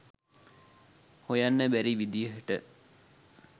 හොයන්න බැරි විදිහට